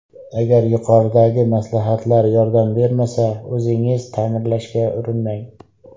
Agar yuqoridagi maslahatlar yordam bermasa, o‘zingiz ta’mirlashga urinmang.